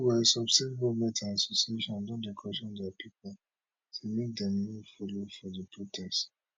meanwhile some state governments and associations don dey caution dia pipo say make dem no follow for di protest